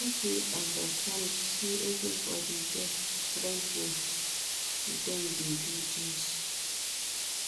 Make we understand sey everybodi get different way dem dey do tins.